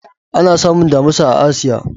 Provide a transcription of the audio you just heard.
Ana samun Damusa a Asiya.